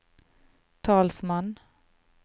talsmann